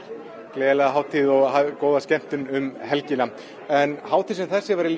gleðilega hátíð og góða skemmtun um helgina en hátíð sem þessi væri